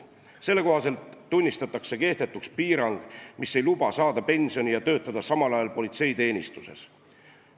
Selle kohaselt tunnistatakse kehtetuks piirang, mis ei luba saada pensioni ja töötada samal ajal politseiteenistuses.